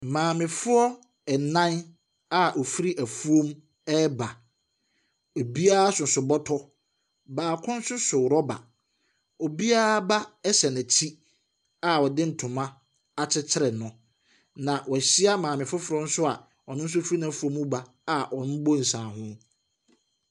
Maamefoɔ ɛnan a ɔfiri ɛfuom ɛreba. Ebiaa soso bɔtɔ. Obiara ba hyɛ nɛkyi a ɔde ntoma akyekyere no na wɛhyia maame foforɔ a ɔno nso efiri nɛɛfuom reba a wɔrebɔ nsaaho.